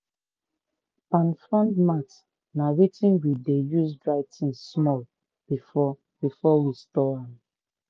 palm frond mat na wetin we dey use dry things small before before we store.